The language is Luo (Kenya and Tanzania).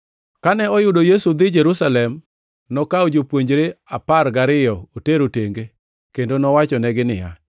Kane oyudo Yesu dhi Jerusalem, nokawo jopuonjre apar gariyo otero tenge kendo nowachonegi niya,